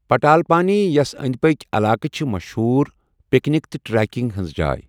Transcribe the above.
پٹالپانی یَس أنٛدۍ پٔکھۍ علاقہٕ چھِ مشہوٗر پکنک تہٕ ٹریکنگ ہٕنٛز جاے۔